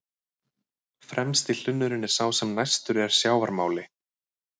Fremsti hlunnurinn er sá sem næstur er sjávarmáli.